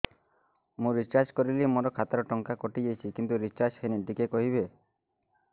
ମୁ ରିଚାର୍ଜ କରିଲି ମୋର ଖାତା ରୁ ଟଙ୍କା କଟି ଯାଇଛି କିନ୍ତୁ ରିଚାର୍ଜ ହେଇନି ଟିକେ କହିବେ